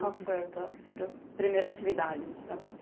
Qual foi a tua primeira atividade de trabalho?